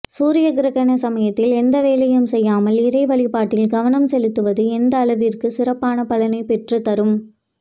சூரிய கிரகண சமயத்தில் எந்த வேலையும் செய்யாமல் இறைவழிபாட்டில் கவனம் செலுத்துவது எந்த அளவிற்கு சிறப்பான பலனை பெற்றுத்தரும்